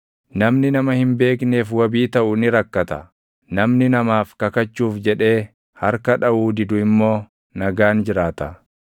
Namni nama hin beekneef wabii taʼu ni rakkata; namni namaaf kakachuuf jedhee harka dhaʼuu didu immoo // nagaan jiraata.